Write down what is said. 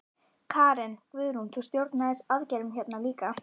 Karen: Guðrún, þú stjórnaðir aðgerðum hérna líka?